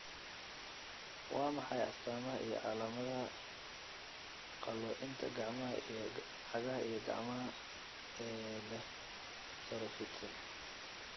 Waa maxay astamaha iyo calaamadaha qalloocinta Gacanta iyo cagaha ee leh saro fidsan?